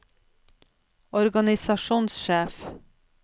organisasjonssjef